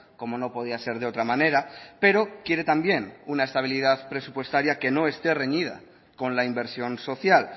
como no podía ser de otra manera pero quiere también una estabilidad presupuestaria que no esté reñida con la inversión social